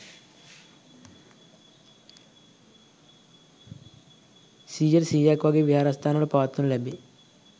සියයට, සීයක් වාගේ විහාරස්ථානවල පවත්වනු ලැබේ.